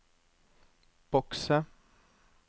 bokse